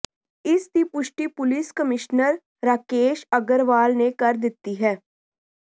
ਇਸ ਦੀ ਪੁਸ਼ਟੀ ਪੁਲਿਸ ਕਮਿਸ਼ਨਰ ਰਾਕੇਸ਼ ਅੱਗਰਵਾਲ ਨੇ ਕਰ ਦਿੱਤੀ ਹੈ